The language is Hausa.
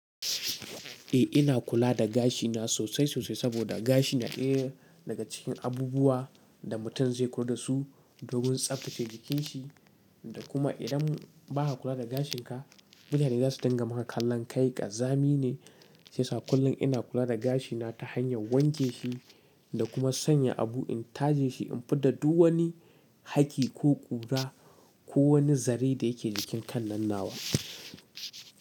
Eh ina kula da gashina sosai sosai saboda gashi na ɗaya daga cikin abubuwa da mutum zai ko da su domin tsaftace jikin shi da kuma idan ba a kula da gashin ka mutane za su tanga maka kallon kai ƙazami ne shiyasa kullum ina kula da gashina ta hanyar wanke shi da kuma sanya abu in taje shi in fidda duk wani hakki ko ƙura ko wani zare da yake jikin kan nan nawa.